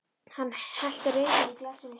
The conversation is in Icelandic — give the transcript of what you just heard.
Hann hellti rauðvíni í glasið mitt.